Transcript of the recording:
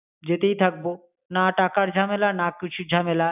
যেতেই থাকবো। না টাকার ঝামেলা, না কিছুর ঝামেলা।